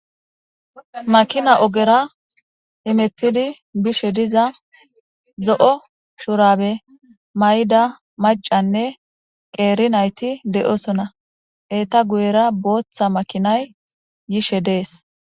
makina ogera imettidi gishe diza zo7o shurabe may7da macanne qeeri nayti de7osona eeta guyera booththa makinay yishe dees